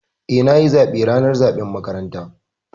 Eh, na yi zaɓe ranar zaɓen makaranta.